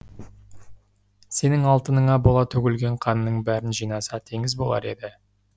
сенің алтыныңа бола төгілген қанның бәрін жинаса теңіз болар еді